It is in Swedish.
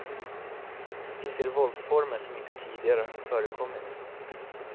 Vi ser våldsformer som inte tidigare har förekommit.